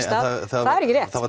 stað það er ekki rétt það var